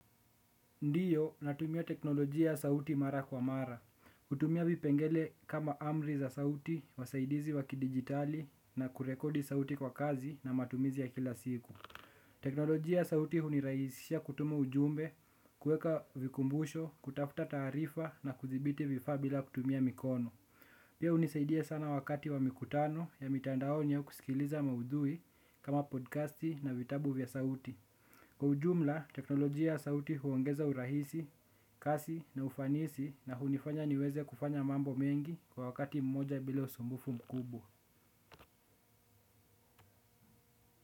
Ndiyo natumia teknolojia ya sauti mara kwa mara. Kutumia vipengele kama amri za sauti, wasaidizi wakidigitali na kurekodi sauti kwa kazi na matumizi ya kila siku. Teknolojia ya sauti huniraisisha kutuma ujumbe, kuweka vikumbusho, kutafuta taarifa na kuthibiti vifaa bila kutumia mikono. Pia unisaidia sana wakati wa mikutano ya mitandaoni ya kusikiliza maudhui kama podcasti na vitabu vya sauti. Kwa ujumla, teknolojia ya sauti huongeza urahisi, kasi na ufanisi na hunifanya niweze kufanya mambo mengi kwa wakati mmoja bila usumbufu mkubwa.